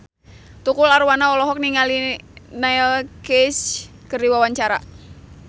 Tukul Arwana olohok ningali Neil Casey keur diwawancara